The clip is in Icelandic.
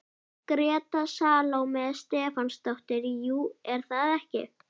Gréta Salóme Stefánsdóttir: Jú, er það ekki?